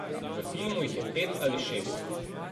V filmu jih je pet ali šest.